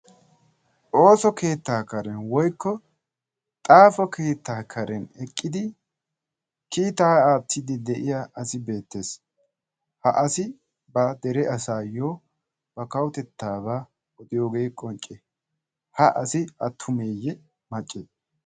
ooso keettaa karen woikko xaafo keettaa karen eqqidi kiitaa aattiddi de'iya asi beettees ha asi ba dere asaayyo ba kawotettaabaa odiyoogee qonqce ha asi attumeeyye maqce